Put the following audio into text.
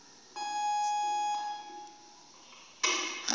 gago ke tseba go wa